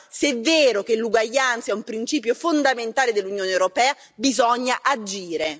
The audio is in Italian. Allora, se è vero che l'uguaglianza è un principio fondamentale dell'Unione europea, bisogna agire!